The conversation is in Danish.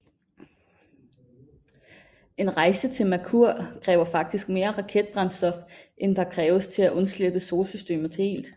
En rejse til Merkur kræver faktisk mere raketbrændstof end der kræves til at undslippe solsystemet helt